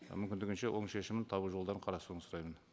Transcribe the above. мүмкіндігінше оң шешімін табу жолдарын қарастыруыңызды сұраймын